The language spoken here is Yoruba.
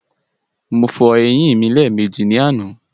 Mo fọ eyín mi lẹ́ẹ̀mejì ní àná.